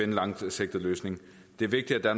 en langsigtet løsning det er vigtigt at